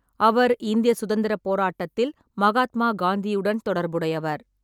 அவர் இந்திய சுதந்திரப் போராட்டத்தில் மகாத்மா காந்தியுடன் தொடர்புடையவர்.